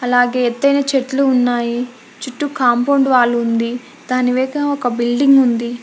అలాగె ఎత్తైన చెట్లు ఉన్నాయి చుట్టూ కాంపౌండ్ వాల్ ఉంది దానివేగా ఒక బిల్డింగ్ ఉంది.